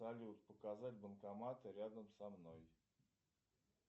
салют показать банкоматы рядом со мной